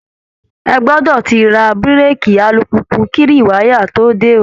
Ẹ gbọdọ̀ ti ra búrèèkì alùpùpù kí rìwáyà tó dé ó!